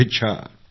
धन्यवाद भैया